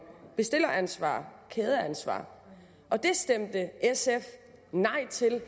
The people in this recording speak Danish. bestilleransvar kædeansvar og det stemte sf nej til